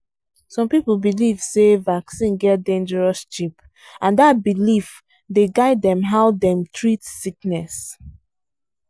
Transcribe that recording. some people belief say vaccine get dangerous chip and that belief dey guidedem how dem treat sickness.